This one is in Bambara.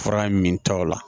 Fura min ta o la